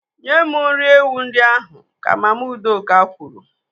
Nye m nri ewu ndị ahụ, ka Mama Udoka kwuru.